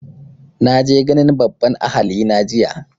Na je ganin babban ahali na jiya